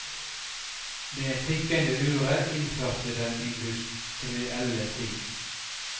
Det tikkende uret innførte den industrielle tid.